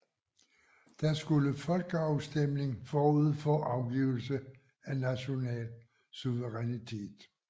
Der skulle folkeafstemning forud for afgivelse af national suverænitet